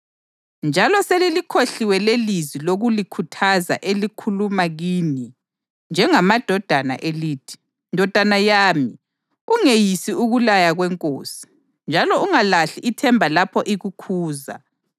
Njalo selilikhohliwe lelizwi lokulikhuthaza elikhuluma kini njengamadodana elithi: “Ndodana yami, ungeyisi ukulaya kweNkosi. Njalo ungalahli ithemba lapho ikukhuza,